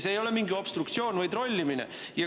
See ei ole mingi obstruktsioon või trollimine.